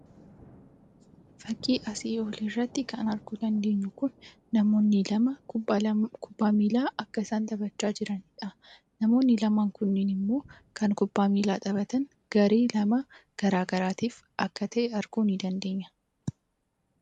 Fakkii asii gadii irratti kan arguu dandeenyu kun namoonni lama kubbaa miillaa akka isaan taphachaa jiranidha. Namoonni lama kun kan kubbaa miilla taohatan garee gara garaa lamaaf akka ta’e arguu ni dandeenya.